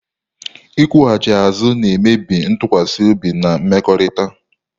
Ịkwụghachi azụ na-emebi ntụkwasị obi na mmekọrịta